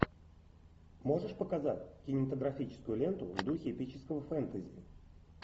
можешь показать кинематографическую ленту в духе эпического фэнтези